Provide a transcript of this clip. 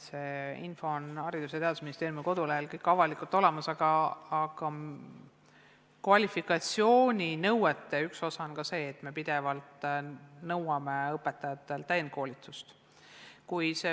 See info on kõik Haridus- ja Teadusministeeriumi kodulehel avalikult olemas, aga kvalifikatsiooninõuete üks osa on ka see, et me nõuame pidevalt õpetajatelt täienduskoolituste läbimist.